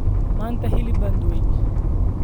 Maanta hilib baan dubay.